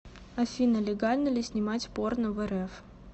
афина легально ли снимать порно в рф